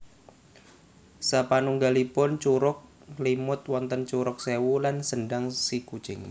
Sapanunggalipun Curug Nglimut wonten Curug Sewu lan Sendang Sikucing